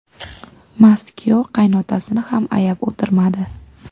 Mast kuyov qaynotasini ham ayab o‘tirmadi.